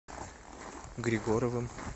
григоровым